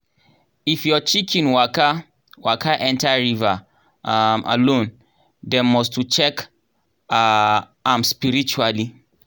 if your chicken waka waka enter river um alone dem must to check um am spiritually